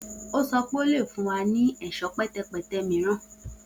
O sọ pe o le fun wa ni ẹṣọ pẹtẹpẹtẹ miiran